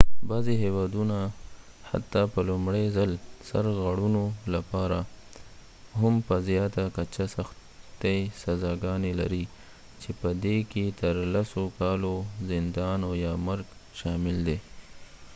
بعضې هیوادونه حتی په لومړي ځل سرغړونو لپاره هم په زیاته کچه سختې سزاګانې لري چې په دې کې تر 10 کالو زندان او یا مرګ شامل دی